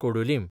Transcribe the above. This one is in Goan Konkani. कोडूलीम